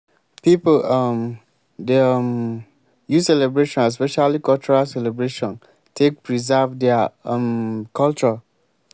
if we celebrate children e dey make de dey confident in wetin dem sabi